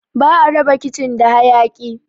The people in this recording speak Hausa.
Ba'a raba kicin da hayaki